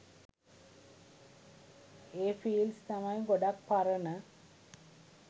ඒ fields තමයි ගොඩක් පරණ